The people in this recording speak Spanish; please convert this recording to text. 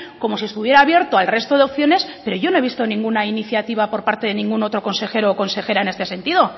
como si estuviera abierto al resto de opciones pero yo no he visto ninguna iniciativa por parte de ningún otro consejero o consejera en este sentido